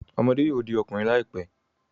Ọmọde yoo di ọkunrin laipe